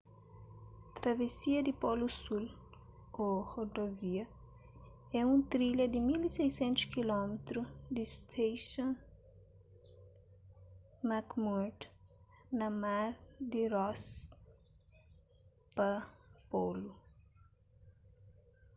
travesia di polu sul ô rodovia é un trilha di 1600 km di stason mcmurdo na mar di ross pa polu